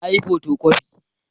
Na yi fotokofi